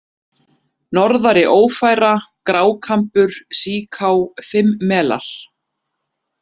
Norðari-Ófæra, Grákambur, Síká, Fimmmelar